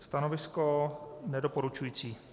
Stanovisko nedoporučující.